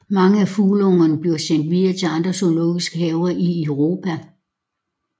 Mange af fugleungerne bliver sendt videre til andre zoologiske haver i Europa